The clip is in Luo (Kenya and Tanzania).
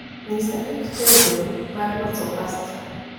nyisa gik tedo mar loso pasta